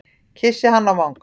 Kyssi hana á vangann.